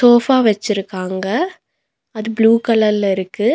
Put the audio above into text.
Sofa வெச்சிருக்காங்க அது blue கலர்ல இருக்கு.